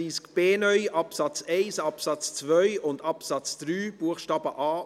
Wir sind bei Artikel 33a (neu) Absatz 2 verblieben.